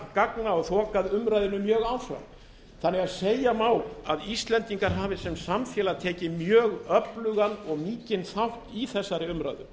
gagna og þokað umræðunni mjög áfram þannig að segja má að íslendingar hafi sem samfélag tekið mjög öflugan og mikinn þátt í þessari umræðu